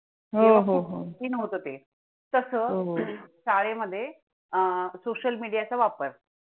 तसं शाळेमध्ये अं social media चा वापर